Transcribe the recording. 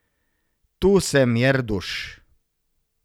Tu sem, Jerduš!